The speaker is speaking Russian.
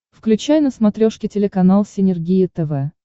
включай на смотрешке телеканал синергия тв